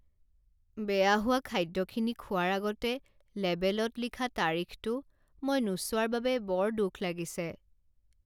বেয়া হোৱা খাদ্যখিনি খোৱাৰ আগতে লেবেলত লিখা তাৰিখটো মই নোচোৱাৰ বাবে বৰ দুখ লাগিছে।